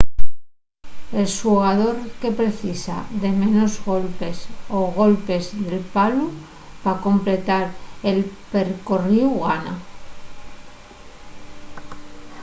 el xugador que precisa de menos golpes o golpes del palu pa completar el percorríu gana